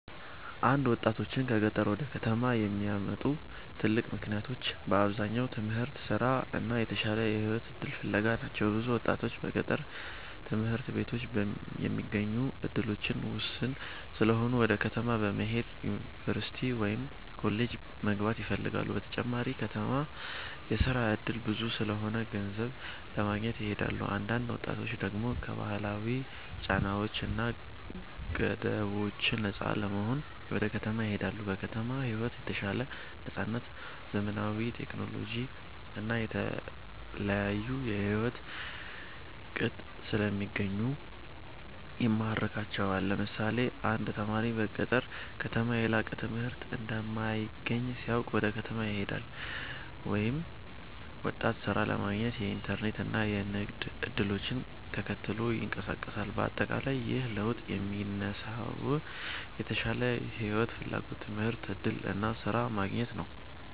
1ወጣቶችን ከገጠር ወደ ከተማ የሚያመጡ ትልቅ ምክንያቶች በአብዛኛው ትምህርት፣ ስራ እና የተሻለ የህይወት እድል ፍለጋ ናቸው። ብዙ ወጣቶች በገጠር ትምህርት ቤቶች የሚገኙ እድሎች ውስን ስለሆኑ ወደ ከተማ በመሄድ ዩኒቨርሲቲ ወይም ኮሌጅ መግባት ይፈልጋሉ። በተጨማሪም በከተማ የስራ እድል ብዙ ስለሆነ ገንዘብ ለማግኘት ይሄዳሉ። አንዳንድ ወጣቶች ደግሞ ከባህላዊ ጫናዎች እና ገደቦች ነፃ ለመሆን ወደ ከተማ ይሄዳሉ። በከተማ ሕይወት የተሻለ ነፃነት፣ ዘመናዊ ቴክኖሎጂ እና የተለያዩ የሕይወት ቅጥ ስለሚገኙ ይማርካቸዋል። ለምሳሌ አንድ ተማሪ በገጠር ከተማ የላቀ ትምህርት እንደማይገኝ ሲያውቅ ወደ ከተማ ይሄዳል፤ ወይም ወጣት ሥራ ለማግኘት የኢንተርኔት እና የንግድ እድሎችን ተከትሎ ይንቀሳቀሳል። በአጠቃላይ ይህ ለውጥ የሚነሳው የተሻለ ሕይወት ፍላጎት፣ ትምህርት እድል እና ስራ ማግኘት ነው።